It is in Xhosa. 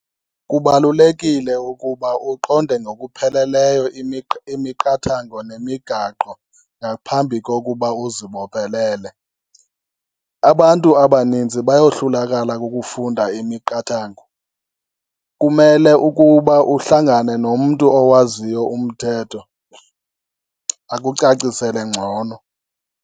Kubalulekile ukuba uqonde ngokuphelelyo imiqathango nemigaqo ngaphambi kokuba uzibophelele. Abantu abaninzi bayohlulakala kukufunda imiqathango, kumele ukuba uhlangane nomntu owaziyo umthetho akucacisele ngcono.